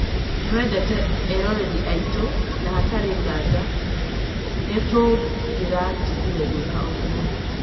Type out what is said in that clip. Nĩtwendete eroreri aitũ, na hatarĩ nganja, no nĩtũngĩratigire gwĩka ũguo